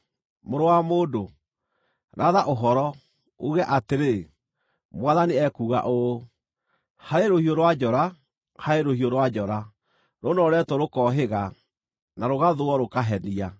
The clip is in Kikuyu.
“Mũrũ wa mũndũ, ratha ũhoro, uuge atĩrĩ, ‘Mwathani ekuuga ũũ: “ ‘Harĩ rũhiũ rwa njora, harĩ rũhiũ rwa njora, rũnooretwo rũkohĩga, na rũgathũũo rũkahenia,